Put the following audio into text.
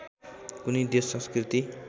कुनै देश संस्कृति